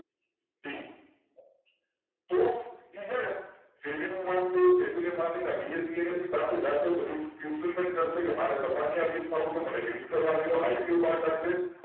તો એ છેને SEBI ના BSENSE પાસે જાસે બધી કારસે મને તમારી ત્યાં લિસ્ટ થયુ છે મને લિસ્ટ કરવા દેઓ IPO બાર કાળશે